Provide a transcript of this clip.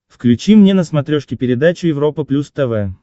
включи мне на смотрешке передачу европа плюс тв